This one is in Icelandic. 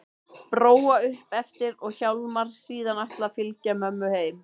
Bróa upp eftir og Hjálmar síðan ætlað að fylgja mömmu heim.